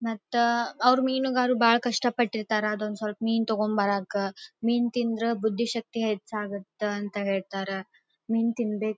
ಮತ್ತ ಅವ್ರು ಮೀನುಗಾರರು ಬಹಳ ಕಷ್ಟ ಪಟ್ಟಿರ್ತಾರ ಅದೊಂದು ಸ್ವಲ್ಪ ಮೇನ್ ತಗೊಂಡ್ ಬರಕ್ಕ ಮೀನ್ ತಿಂದ್ರೆ ಬುದ್ಧಿಶಕ್ತಿ ಹೆಚ್ಚಾಗುತ್ತೆ ಅಂತ ಹೇಳ್ತಾರೆ ಮೀನ್ ತಿನ್ನಬೇಕ್.